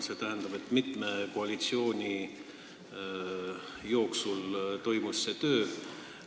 See tähendab, et mitme koalitsiooni ajal on see töö toimunud.